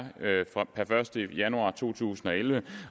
per første januar to tusind og elleve